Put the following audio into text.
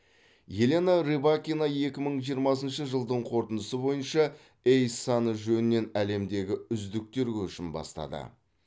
елена рыбакина екі мың жиырмасыншы жылдың қорытындысы бойынша эйс саны жөнінен әлемдегі үздіктер көшін бастады